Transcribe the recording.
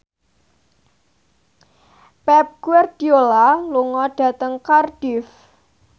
Pep Guardiola lunga dhateng Cardiff